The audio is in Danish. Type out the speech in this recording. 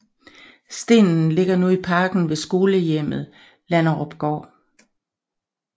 Stenen ligger nu i parken ved skolehjemmet Landerupgård